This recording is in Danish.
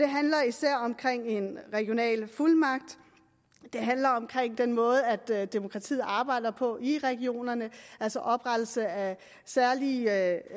handler især om en regional fuldmagt det handler om den måde demokratiet arbejder på i regionerne altså oprettelse af særlige